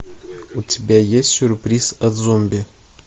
у тебя есть сюрприз от зомби